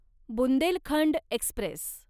Bundelkhand Express